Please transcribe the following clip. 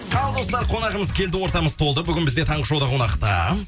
ал достар қонағымыз келді ортамыз толды бүгін бізде таңғы шоуда қонақта